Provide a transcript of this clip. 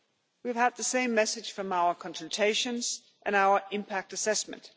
We have had the same message from our consultations and our impact assessment.